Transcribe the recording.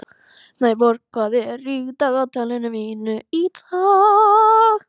Snæborg, hvað er í dagatalinu mínu í dag?